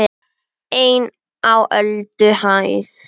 EIN Á ÖLDUHÆÐ